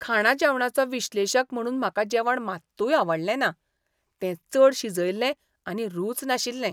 खाणा जेवणाचो विश्लेशक म्हणून म्हाका जेवण मात्तूय आवडलें ना. तें चड शिजयल्लें आनी रूच नाशिल्लें.